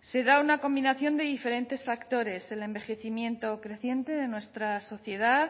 se da una combinación de diferentes factores el envejecimiento creciente de nuestra sociedad